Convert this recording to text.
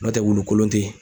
N'o tɛ wulu kolon tɛ ye.